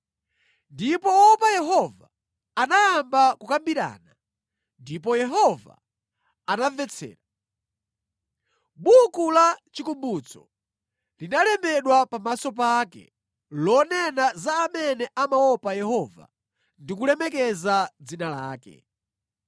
Ndipo woopa Yehova anayamba kukambirana, ndipo Yehova anamvetsera. Buku la chikumbutso linalembedwa pamaso pake, lonena za amene amaopa Yehova ndi kulemekeza dzina lake.